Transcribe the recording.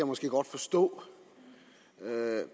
måske godt forstå